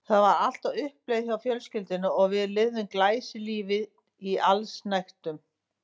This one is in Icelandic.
Það var allt á uppleið hjá fjölskyldunni og við lifðum glæsilífi í allsnægtum.